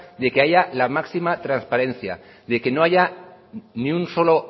a que haya la máxima transparencia de que no haya ni un solo